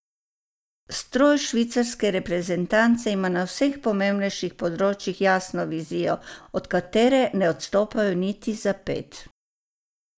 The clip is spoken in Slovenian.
Ustroj švicarske reprezentance ima na vseh pomembnejših področjih jasno vizijo, od katere ne odstopajo niti za ped.